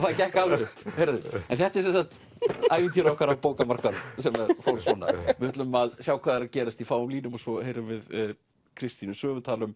gekk alveg upp þetta er sem sagt ævintýri okkar á bókamarkaðnum við ætlum að sjá hvað er að gerast í fáum línum og svo heyrum við Kristínu Svövu tala um